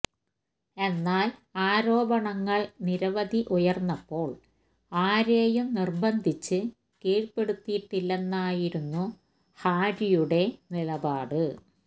എന്നാല് ആരോപങ്ങള് നിരവധി ഉയര്ന്നപ്പോള് ആരെയും നിര്ബന്ധിച്ച് കീഴ്പ്പെടുത്തിയിട്ടില്ലെന്നായിരുന്നു ഹാര്വിയുടെ നിലപാട്